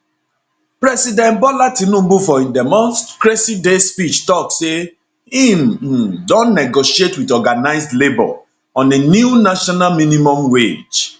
president bola tinubu for im democracy day speech tok say im um don negotiate wit organised labour on a new national minimum wage